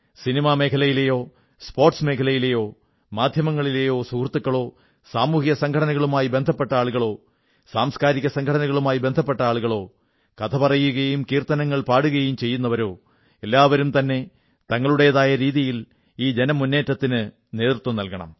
cinema മേഖലയിലെയോ sports മേഖലയിലെയോ മാധ്യമങ്ങളിലെയോ സുഹൃത്തുക്കളോ സാമൂഹിക സംഘടനകളുമായി ബന്ധപ്പെട്ട ആളുകളോ സാംസ്കാരിക സംഘടനകളുമായി ബന്ധപ്പെട്ട ആളുകളോ കഥപറയുകയും കീർത്തനങ്ങൾ പാടുകയും ചെയ്യുന്നവരോ എല്ലാവരും തന്നെ തങ്ങളുടേതായ രീതിയിൽ ഈ ജനമുന്നേറ്റത്തിനു നേതൃത്വം നല്കണം